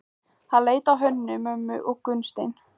Hann leit á Hönnu-Mömmu og Gunnstein.